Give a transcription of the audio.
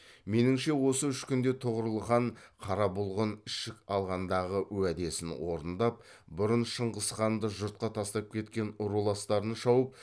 меніңше осы үш күнде тұғырыл хан қара бұлғын ішік алғандағы уәдесін орындап бұрын шыңғысханды жұртқа тастап кеткен руластарын шауып